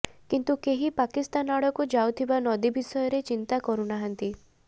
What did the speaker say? କିନ୍ତୁ କେହି ପାକିସ୍ତାନ ଆଡ଼କୁ ଯାଉଥିବା ନଦୀ ବିଷୟରେ ଚିନ୍ତା କରୁନାହାନ୍ତି